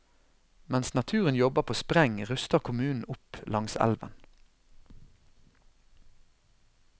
Mens naturen jobber på spreng, ruster kommunen opp langs elven.